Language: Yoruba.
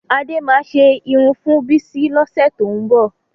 Adé máa ṣe irun fún Bísí lọ́sẹ̀ tó ń bọ̀